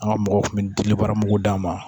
An ka mɔgɔw kun bɛ dili baara mugu d'a ma